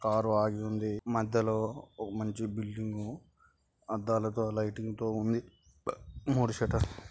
car ఆగి ఉంది.మధ్యలో ఒక మంచి బిల్డింగ్ అద్దాలతో లైటింగుతో ఉన్నది మూడు షెటర్లు--